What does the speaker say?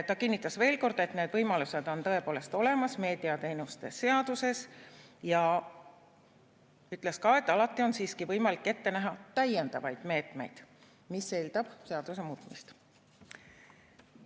Ta kinnitas veel kord, et need võimalused on tõepoolest olemas meediateenuste seaduses, ja ütles ka, et alati on siiski võimalik ette näha täiendavaid meetmeid, mis eeldab seaduse muutmist.